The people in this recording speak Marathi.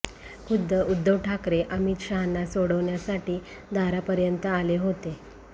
खुद्द उद्धव ठाकरे अमित शहांना सोडण्यासाठी दारापर्यंत आले होते